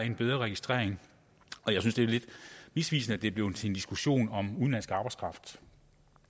en bedre registrering jeg synes det er lidt misvisende at det er blevet til en diskussion om udenlandsk arbejdskraft